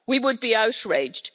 We would be outraged.